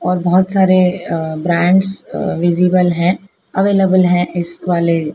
और बहोत सारे अ ब्रैंड्स अ विजिबल है अवेलेबल है इस वाले--